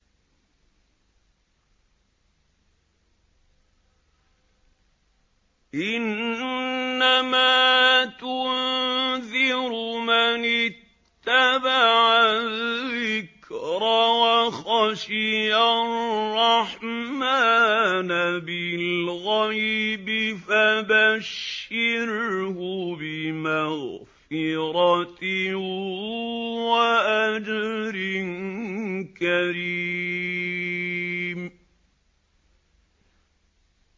إِنَّمَا تُنذِرُ مَنِ اتَّبَعَ الذِّكْرَ وَخَشِيَ الرَّحْمَٰنَ بِالْغَيْبِ ۖ فَبَشِّرْهُ بِمَغْفِرَةٍ وَأَجْرٍ كَرِيمٍ